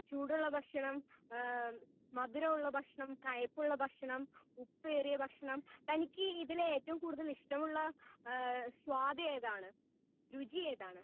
Speaker 1 ചൂടുള്ള ഭക്ഷണം ഹേ മധുരം ഉള്ള ഭക്ഷണം കയ്പ്പുള്ള ഭക്ഷണം ഉപ്പേറിയ ഭക്ഷണം തനിക്ക് ഇതിൽ ഏറ്റവും കൂടുതൽ ഇഷ്ടമുള്ള ഹേ സ്വത് ഏതാണ്? രുചി ഏതാണ്?